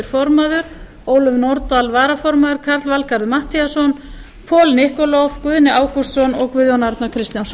form ólöf nordal varaformaður karl valgarður matthíasson paul nikolov guðni ágústsson og guðjón arnar kristjánsson